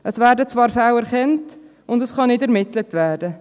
Es werden zwar Fälle erkannt – und es kann nicht ermittelt werden.